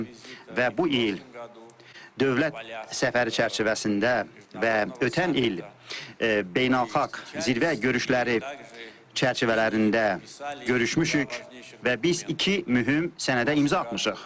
Və bu il dövlət səfəri çərçivəsində və ötən il beynəlxalq zirvə görüşləri çərçivələrində görüşmüşük və biz iki mühüm sənədə imza atmışıq.